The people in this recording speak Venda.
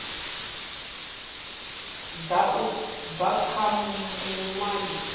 ḓa u bva kha muṅwalisi